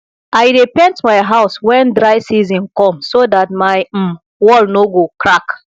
i dey paint my house wen dry season com so dat my um wall no go crack